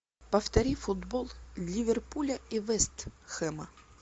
повтори футбол ливерпуля и вест хэма